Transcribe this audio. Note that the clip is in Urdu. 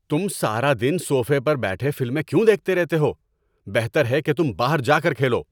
تم سارا دن صوفے پر بیٹھے فلمیں کیوں دیکھتے رہتے ہو؟ بہتر ہے کہ تم باہر جا کر کھیلو!